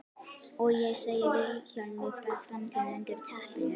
Og ég segi Vilhjálmi frá framtíðinni undir teppinu.